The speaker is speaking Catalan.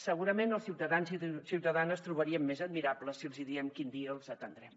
segurament els ciutadans i ciutadanes trobarien més admirable que els hi diguem quin dia els atendrem